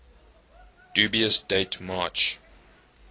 dubious date march